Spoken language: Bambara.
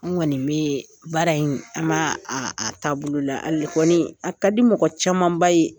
Anw kɔni be baara in, an ba a taa bolo la. Hali kɔni a ka di mɔgɔ camanba ye .